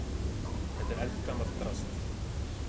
Þetta er eldgamalt drasl.